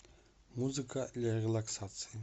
музыка для релаксации